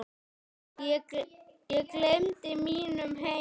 Ég gleymdi mínum heima